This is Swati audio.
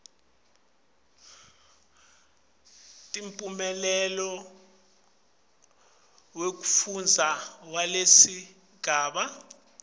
temphumela wekufundza walesigaba